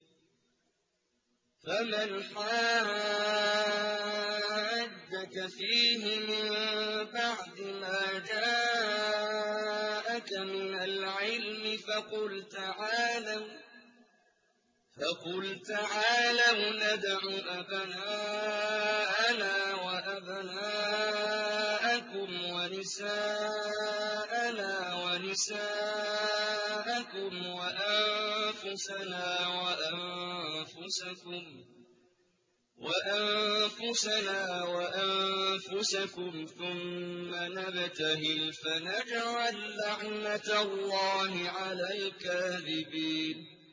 فَمَنْ حَاجَّكَ فِيهِ مِن بَعْدِ مَا جَاءَكَ مِنَ الْعِلْمِ فَقُلْ تَعَالَوْا نَدْعُ أَبْنَاءَنَا وَأَبْنَاءَكُمْ وَنِسَاءَنَا وَنِسَاءَكُمْ وَأَنفُسَنَا وَأَنفُسَكُمْ ثُمَّ نَبْتَهِلْ فَنَجْعَل لَّعْنَتَ اللَّهِ عَلَى الْكَاذِبِينَ